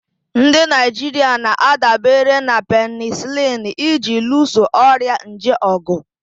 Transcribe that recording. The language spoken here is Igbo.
Ndị Naijiria na-adabere na penisilini iji luso ọrịa nje ọgụ.